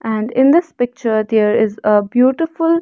and in this picture there is a beautiful--